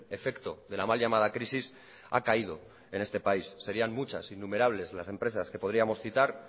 efecto de la mal llamada crisis ha caído en este país serían muchas innumerables las empresas que podríamos citar